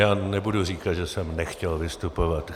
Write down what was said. Já nebudu říkat, že jsem nechtěl vystupovat.